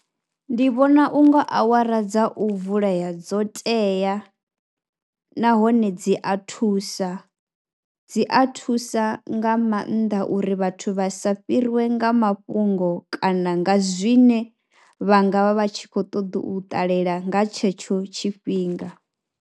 Ndi vhona u nga awara dza u vulea dzo teya nahone dzi a thusa, dzi a thusa nga maanḓa uri vhathu vha sa fhiriwe nga mafhungo kana nga zwine vha nga vha vha tshi khou ṱoḓa u ṱalela nga tshetsho tshifhinga.